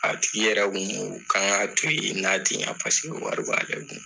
A tigi yɛrɛ kun ko an ka to yen paseke wari b'ale kun.